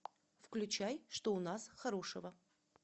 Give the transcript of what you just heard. включай что у нас хорошего